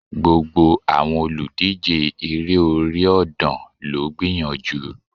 Gbogbo àwọn olùdíje Eré orí ọ̀dàn ló gbìyànjú